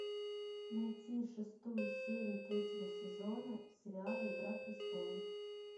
найти шестую серию третьего сезона сериала игра престолов